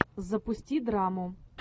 запусти драму